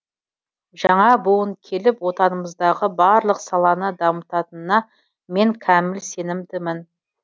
жаңа буын келіп отанымыздағы барлық саланы дамытанына мен кәміл сенімдімін